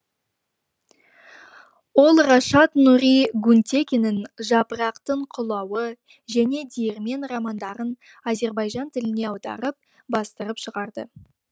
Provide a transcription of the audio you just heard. ол рашад нури гюнтекиннің жапырақтың құлауы және диірмен романдарын азербайжан тіліне аударып бастырып шығарды